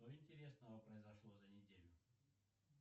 что интересного произошло за неделю